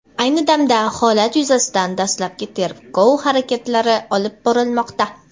Ayni damda holat yuzasidan dastlabki tergov harakatlari olib borilmoqda.